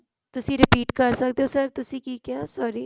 ਤੁਸੀਂ repeat ਕਰ ਸਕਦੇ ਹੋ sir ਤੁਸੀਂ ਕੀ ਕਿਹਾ sorry